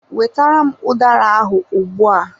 Wetara m udara ahụ ugbua!